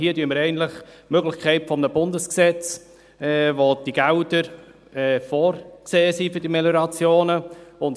Hier haben wir eigentlich die Möglichkeit eines Bundesgesetzes, welches die Gelder für Meliorationen vorsieht.